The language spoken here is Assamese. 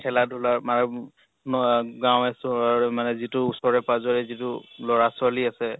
খেলা ধুলা গাঁৱে চহৰে মানে যিটো উচৰে পাজৰে যিটো লʼৰা ছৱালী আছে